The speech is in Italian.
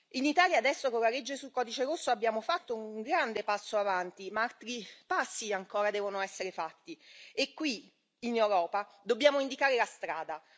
In Italia adesso con la legge sul codice rosso abbiamo fatto un grande passo avanti, ma altri passi ancora devono essere fatti e qui, in Europa, dobbiamo indicare la strada.